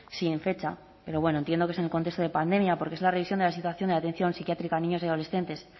sin fecha pero bueno entiendo que es en el contexto de pandemia porque es la revisión de la situación de la atención psiquiátrica a niños y adolescentes